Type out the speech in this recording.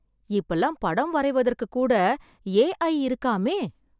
இப்பல்லாம் படம் வரைவதற்கு கூட ஏ.ஐ. இருக்காமே.